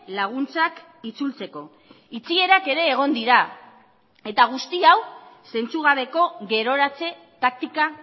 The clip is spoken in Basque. laguntzak itzultzeko itxierak ere egon dira eta guzti hau zentzugabeko geroratze taktika